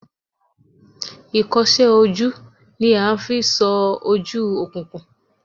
Ikose oju ni a n fi so oju okunkun.